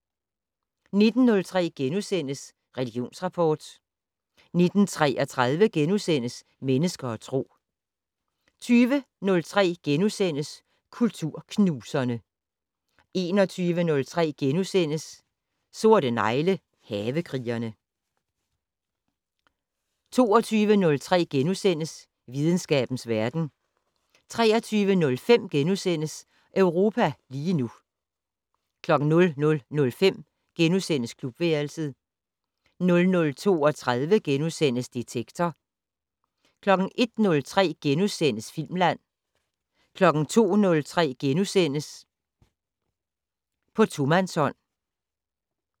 19:03: Religionsrapport * 19:33: Mennesker og Tro * 20:03: Kulturknuserne * 21:03: Sorte negle: Havekrigerne * 22:03: Videnskabens verden * 23:05: Europa lige nu * 00:05: Klubværelset * 00:32: Detektor * 01:03: Filmland * 02:03: På tomandshånd *